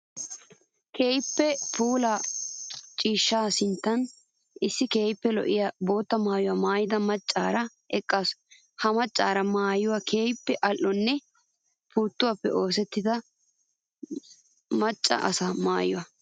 Keehippe puula ciishsha sinttan issi keehippe lo'iya bootta maayuwa maayidda macara eqqassu. Ha macari maayoy keehippe ali'onne puutuwappe oosettiya maca asa maayo.